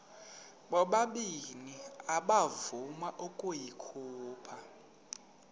ubabini akavuma ukuyikhupha